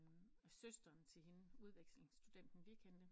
Søsteren til hende udvekslingsstudenten vi kendte